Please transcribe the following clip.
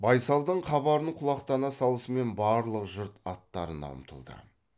байсалдың хабарын құлақтана салысымен барлық жұрт аттарына ұмтылды